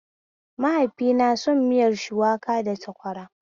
Maihaifina son miyar shuwaka da sakwara